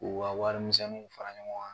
K'u ka wari misɛnninw fara ɲɔgɔn kan